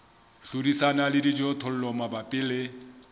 hlodisana le dijothollo mabapi le